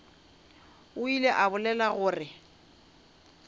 o ile a bolela gore